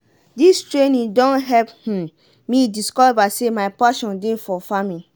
dis training don help um me discover say my pashon dey for farming.